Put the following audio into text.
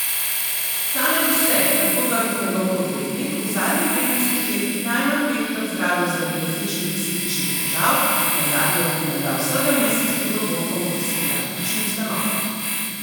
Ta naj bi se, tako trdi njegov odvetnik, v zadnjih petnajstih letih najmanj petkrat zdravil zaradi različnih psihičnih težav, nazadnje je bil menda vsega mesec pred dogodkom v psihiatrični ustanovi.